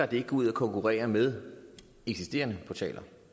de ikke går ud og konkurrerer med eksisterende portaler